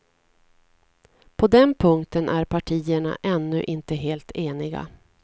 På den punkten är partierna ännu inte helt eniga.